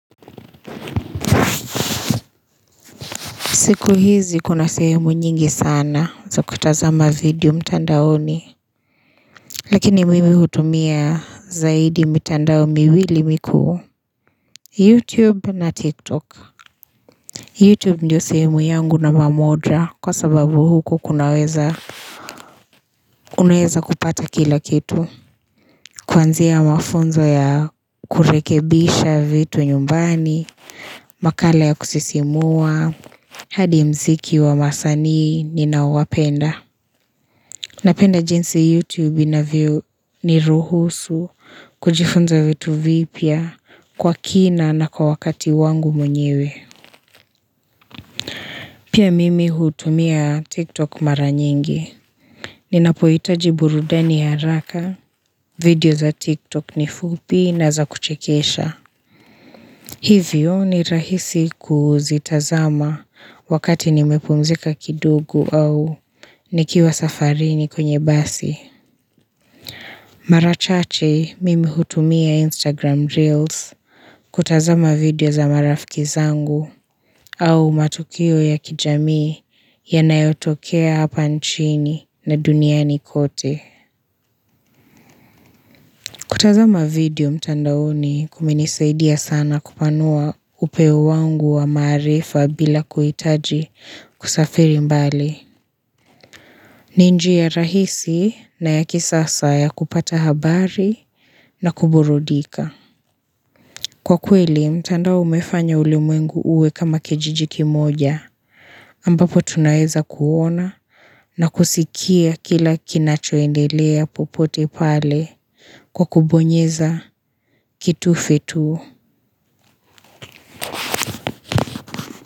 Siku hizi kuna sehemu nyingi sana za kutazama video mtandaoni. Lakini mimi hutumia zaidi mitandao miwili mikuu YouTube na TikTok. YouTube ndio sehemu yangu namba moja, kwa sababu huko kunaweza. Unaweza kupata kila kitu. Kuanzia mafunzo ya kurekebisha vitu nyumbani. Makala ya kusisimua, hadi mziki wa wasanii ninaowapenda. Napenda jinsi YouTube inavyoniruhusu kujifunza vitu vipya, kwa kina na kwa wakati wangu mwenyewe. Pia mimi hutumia TikTok mara nyingi. Ninapohitaji burudani ya haraka, video za TikTok ni fupi na za kuchekesha. Hivyo ni rahisi kuzitazama, wakati nimepumzika kidogo, au nikiwa safarini kwenye basi. Mara chache mimi hutumia Instagram Reels, kutazama video za marafiki zangu au matukio ya kijamii, yanayotokea hapa nchini na duniani kote. Kutazama video mtandaoni kumenisaidia sana, kupanua upeo wangu wa maarifa, bila kuhitaji kusafiri mbali. Ni njia rahisi na ya kisasa ya kupata habari na kuburudika. Kwa kweli, mtandao umefanya ulimwengu uwe kama kijiji kimoja, ambapo tunaeza kuona, na kusikia kila kinachoendelea popote pale, kwa kubonyeza kitufe tu.